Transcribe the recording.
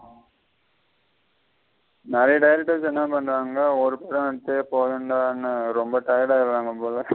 நெறைய directors என்ன பண்ன்றங்கான ஒரு படம் எடுத்ததே போதும்ன்டனு ரெம்ப tired ஆயிருவாங்க போல.